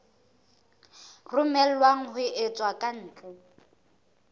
romellwang ho tswa ka ntle